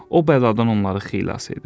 o bəladan onları xilas edir.